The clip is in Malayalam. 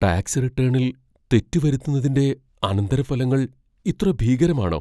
ടാക്സ് റിട്ടേണിൽ തെറ്റ് വരുത്തുന്നതിന്റെ അനന്തരഫലങ്ങൾ ഇത്ര ഭീകരമാണോ?